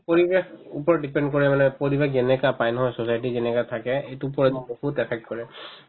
পৰিৱেশ ওপৰত depend কৰে মানে পৰিৱেশ যেনেকুৱা পাই নহয় society যেনেকুৱা থাকে সেইটোৰ ওপৰত বহুত affect কৰে